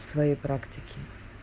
в своей практике